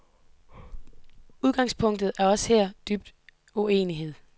Udgangspunktet er også her dyb uenighed.